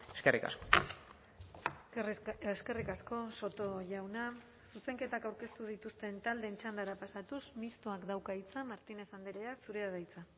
eskerrik asko eskerrik asko soto jauna zuzenketak aurkeztu dituzten taldeen txandara pasatuz mistoak dauka hitza martínez andrea zurea da hitza